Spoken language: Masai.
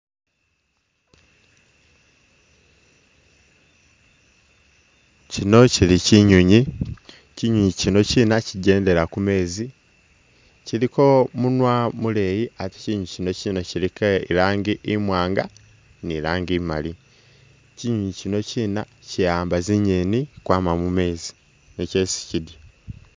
Kino kili kinyoonyi, kinyoonyi kinokina kigendela ku meezi, kiliko munwa muleyi ate nga kinokina kiliko i'rangi imwaanga ni i'rangi imali. Kinyoonyi kinokina ki'amba zingeeni kwama mu meezi nizo esi kidya.